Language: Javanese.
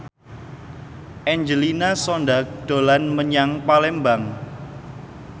Angelina Sondakh dolan menyang Palembang